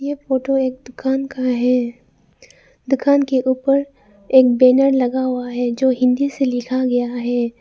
ये फोटो एक दुकान का है दुकान के ऊपर एक बैनर लगा हुआ है जो हिन्दी से लिखा गया है।